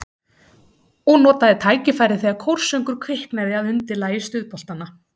Og notaði tækifærið þegar kórsöngur kviknaði að undirlagi stuðboltanna.